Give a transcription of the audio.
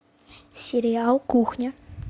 сериал кухня